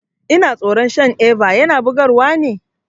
Ina tsoron shan Eva, yana bugar wa ne?